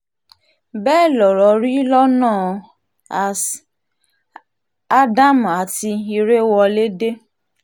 bẹ́ẹ̀ lọ̀rọ̀ rí lọ́nà as um adam àti ìrèwọlédè